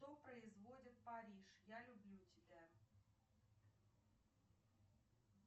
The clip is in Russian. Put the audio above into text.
кто производит париж я люблю тебя